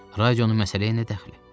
Radionun məsələyə nə dəxli?